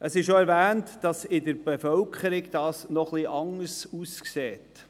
Gemäss Bericht sieht es in der Bevölkerung noch etwas anders aus.